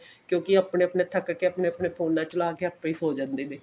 ਕਿਉਂਕਿ ਆਪਣਾ ਆਪਣਾ ਥੱਕ ਕੇ ਆਪਨੇ ਆਪਨੇ ਫੋਨਾ ਚਲਾ ਕੇ ਆਪੇ ਹੀ ਸੋ ਜਾਂਦੇ ਨੇ